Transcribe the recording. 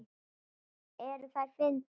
Eru þær fyndnar?